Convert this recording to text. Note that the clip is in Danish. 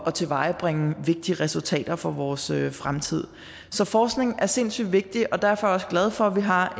at tilvejebringe vigtige resultater for vores fremtid så forskning er sindssyg vigtig og derfor er jeg også glad for at vi har